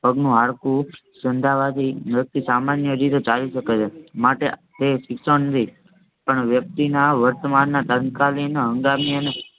પગનું હાડકું સાંધાવાથી વ્યક્તિ સામાન્ય રીતે ચાલી શકે છે. માટે તે શિક્ષણ ને પણ વ્યક્તિના વર્તમાનમાં તત્કાલીન હંગામી અને